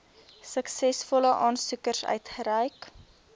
suksesvolle aansoekers uitgereik